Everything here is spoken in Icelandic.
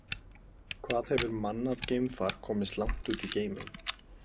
Hvað hefur mannað geimfar komist langt út í geiminn?